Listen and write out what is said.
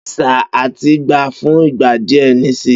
beni sir, àtin gba fún ìgbà díẹ nisi